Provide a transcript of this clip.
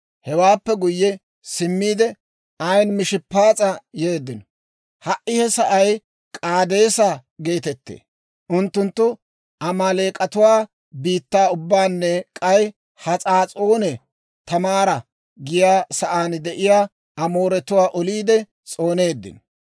Hewaappe guyye simmiide, Ayin-Mishppaas'a yeeddino. (Ha"i he sa'ay K'aadeesa geetettee.) Unttunttu Amaaleek'atuwaa biittaa ubbaanne k'ay Has'aas'oone Taamaara giyaa sa'aan de'iyaa Amooratuwaa oliide s'ooneeddino.